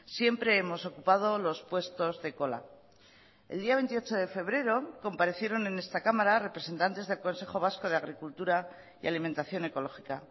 siempre hemos ocupado los puestos de cola el día veintiocho de febrero comparecieron en esta cámara representantes del consejo vasco de agricultura y alimentación ecológica